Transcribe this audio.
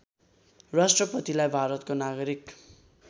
राष्‍ट्रपतिलाई भारतको नागरिक